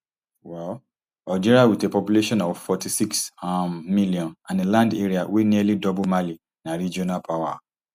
um algeria wit a population of forty-six um million and a land area wey nearly double mali na regional power